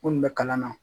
Munnu bɛ kalan na